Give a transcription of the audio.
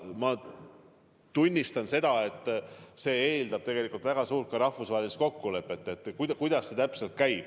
Ma tunnistan, et see lahendus eeldab väga laia rahvusvahelist kokkulepet.